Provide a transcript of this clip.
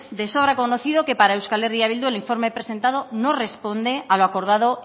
de sobra conocido que para euskal herria bildu el informe presentado no responde a lo acordado